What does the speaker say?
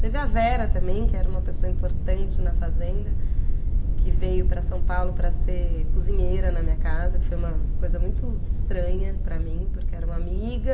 Teve a Vera também, que era uma pessoa importante na fazenda, que veio para São Paulo para ser cozinheira na minha casa, que foi uma coisa muito estranha para mim, porque era uma amiga...